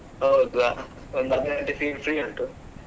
ಹೌದು ಒಂದು ಅರ್ಧ ಗಂಟೆ free, free ಉಂಟು.